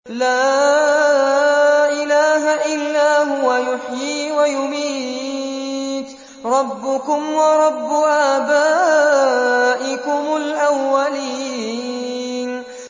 لَا إِلَٰهَ إِلَّا هُوَ يُحْيِي وَيُمِيتُ ۖ رَبُّكُمْ وَرَبُّ آبَائِكُمُ الْأَوَّلِينَ